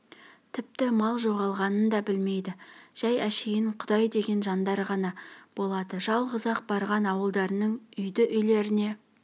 тіпті мал жоғалғанын да білмейді жай әшейін құдай деген жандар ғана болады жалғыз-ақ барған ауылдарының үйді-үйлеріне